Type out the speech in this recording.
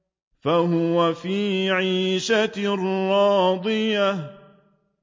فَهُوَ فِي عِيشَةٍ رَّاضِيَةٍ